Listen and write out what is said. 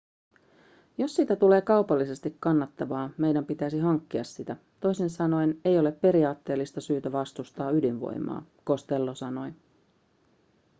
jos siitä tulee kaupallisesti kannattavaa meidän pitäisi hankkia sitä toisin sanoen ei ole periaatteellista syytä vastustaa ydinvoimaa costello sanoi